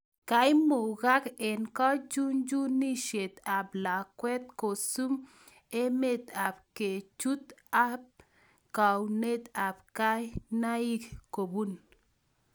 Koimugak eng� kachuchunisiet ab lakwet kosum ameet ab kerchoot and geunet ab kinaik kobun